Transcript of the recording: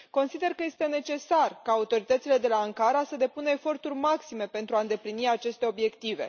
Consider că este necesar ca autoritățile de la Ankara să depună eforturi maxime pentru a îndeplini aceste obiective.